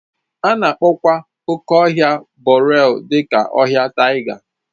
A na-akpọkwa oke ọhịa boreal dị ka ọhịa taiga